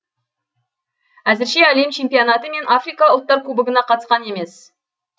әзірше әлем чемпионаты мен африка ұлттар кубогына қатысқан емес